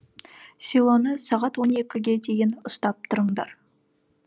селоны сағат он екіге дейін ұстап тұрыңдар